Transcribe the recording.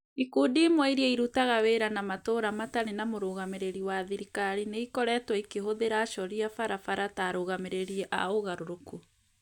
Ikundi ĩmwe iria irutaga wĩra na matũũra matarĩ na mũrũgamĩrĩri wa thirikari nĩ ikoretwo ikĩhũthĩra acori a barabara ta arũgamĩrĩri a ũgarũrũku.